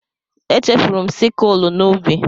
Echefuru m sikụl n'ubi.